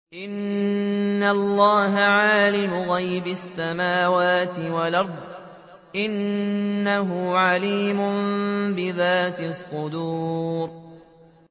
إِنَّ اللَّهَ عَالِمُ غَيْبِ السَّمَاوَاتِ وَالْأَرْضِ ۚ إِنَّهُ عَلِيمٌ بِذَاتِ الصُّدُورِ